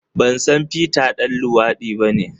Ban san Peter ɗan luwadi bane.